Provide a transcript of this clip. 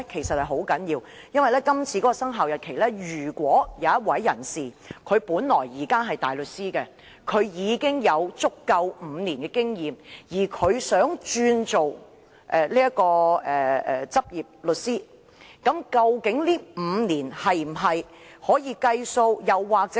《修訂規則》的生效日期......任何人如現時是大律師並有不少於5年執業經驗，而他想轉為律師，究竟這5年經驗是否能計算在內？